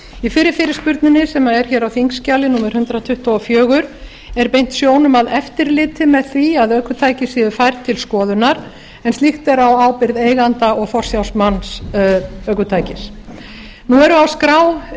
í fyrri fyrirspurninni sem er á þingskjali númer hundrað tuttugu og fjögur er beint sjónum að eftirliti með því að ökutæki séu færð til skoðunar en slíkt er á ábyrgð eiganda og forsjármanns ökutækis nú eru á skrá